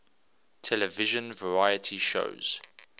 television variety shows